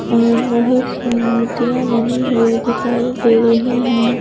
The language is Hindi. और बहुत सी मूर्तियां बनी हुई दिखाई दे रही हैं।